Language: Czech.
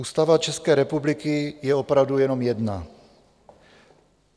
Ústava České republiky je opravdu jenom jedna.